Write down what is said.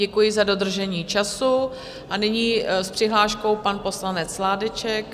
Děkuji za dodržení času a nyní s přihláškou pan poslanec Sládeček.